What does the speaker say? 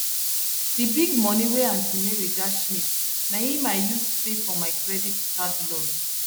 d big moni wey aunty mary dash me na im i use pay for my credit card loan